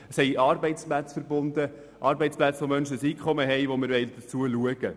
Damit sind Arbeitsplätze verbunden, die Menschen ein Einkommen erlauben und zu denen wir schauen wollen.